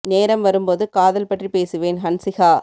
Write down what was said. நேரம் வரும் போது காதல் பற்றி பேசுவேன் ஹன்சிகா